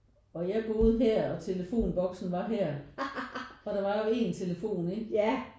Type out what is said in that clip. Og jeg boede her og telefonboksen var her og der var jo en telefon ikke